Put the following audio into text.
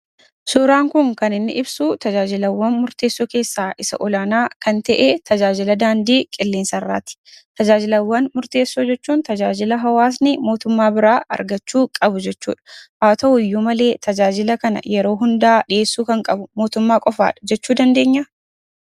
Suuraan kun kan inni ibsu tajaajilawwan murteessoo keessaa isa olaanaa kan ta'e tajaajila daandii qilleensarraati. Tajaajilawwan murteessoo jechuun tajaajila hawaasni mootummaa biraa argachuu qabu jechuudha. Haa ta'uyyuu malee tajaajila kana yeroo hundaa dhiheessuu kan qabu mootummaa qofaadha jechuu dandeenyaa?